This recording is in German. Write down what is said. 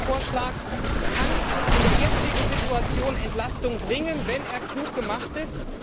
Ein solcher Vorschlag kann in der jetzigen Situation Entlastung bringen, wenn er klug gemacht ist.